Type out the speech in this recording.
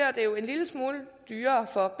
en lille smule dyrere for